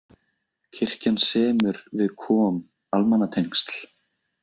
Kirkjan semur við KOM almannatengsl